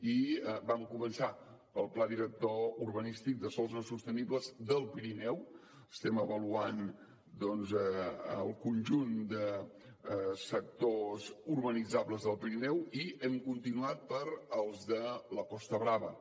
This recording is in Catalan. i vam començar pel pla director urbanístic de sòls no sostenibles del pirineu estem avaluant doncs el conjunt de sectors urbanitzables del pirineu i hem continuat pels de la costa brava